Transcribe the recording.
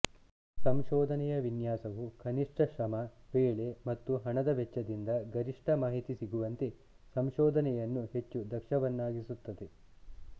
ಸಂಶೋಧನೆಯ ವಿನ್ಯಾಸವು ಕನಿಷ್ಠ ಶ್ರಮ ವೇಳೆ ಮತ್ತು ಹಣದ ವೆಚ್ಚದಿಂದ ಗರಿಷ್ಟ ಮಾಹಿತಿ ಸಿಗುವಂತೆ ಸಂಶೋಧನೆಯನ್ನು ಹೆಚ್ಚು ದಕ್ಷವನ್ನಾಗಿಸುತ್ತದೆ